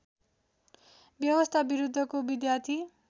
व्यवस्था विरुद्धको विद्यार्थी